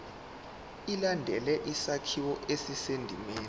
ilandele isakhiwo esisendimeni